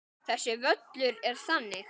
Þessi völlur er þannig.